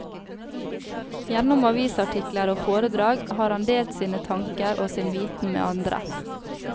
Gjennom avisartikler og foredrag har han delt sine tanker og sin viten med andre.